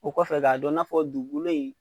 O kɔfɛ ka dɔ na fɔ dugukolo in